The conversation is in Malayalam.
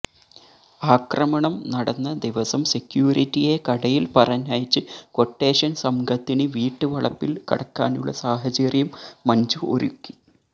ആക്രമണം നടന്ന ദിവസം സെക്യൂരിറ്റിയെ കടയിൽ പറഞ്ഞയച്ച് ക്വട്ടേഷൻ സംഘത്തിന് വീട്ട് വളപ്പിൽ കടക്കാനുള്ള സാഹചര്യം മഞ്ജു ഒരുക്കി